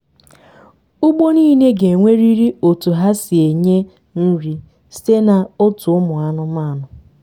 ugbo nile ga enwerịrị otu ha si enye nri site na otu ụmụ anụmanụ